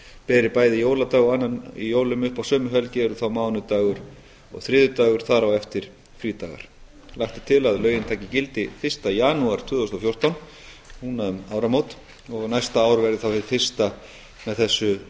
beri bæði jóladag og öðrum í jólum upp á sömu helgi eru þá mánudagur og þriðjudagur þar á eftir frídagar lagt er til að lögin taki gildi fyrsta janúar tvö þúsund og fjórtán og næsta ár verði þá hið fyrsta með þessu